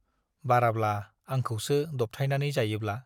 बाराब्ला आंखौसो दबथायनानै जायोब्ला!